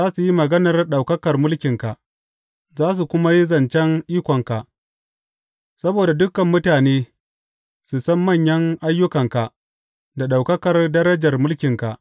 Za su yi maganar ɗaukakar mulkinka za su kuma yi zancen ikonka, saboda dukan mutane su san manyan ayyukanka da ɗaukakar darajar mulkinka.